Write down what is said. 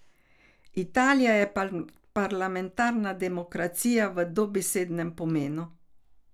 Italija je parlamentarna demokracija v dobesednem pomenu.